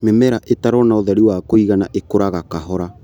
Mĩmera ĩtarona ũtheri wa kũigana ĩkũraga kahora.